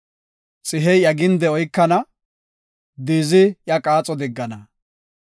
Xihey iya ginde oykana; diizi iya qaaxo diggana.